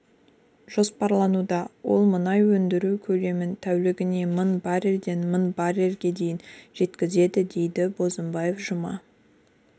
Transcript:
жоспарлануда ол мұнай өндіру көлемін тәулігіне мың баррельден мың баррельге дейін жеткізеді деді бозымбаев жұма